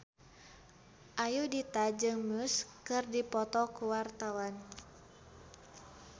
Ayudhita jeung Muse keur dipoto ku wartawan